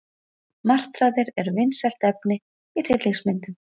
Martraðir eru vinsælt efni í hryllingsmyndum.